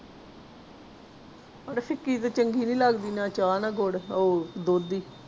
ਆੜੇ ਫਿਕੀ ਤੇ ਚੰਗੀ ਨੀ ਲੱਗਦੀ ਨਾ ਚਾਹ ਨਾ ਗੁੜ ਉਹ ਦੁੱਧ ਦੀ।